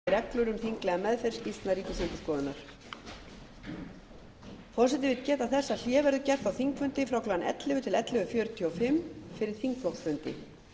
forseti vill geta þess að hlé verður gert á þingfundi frá klukkan ellefu til ellefu fjörutíu og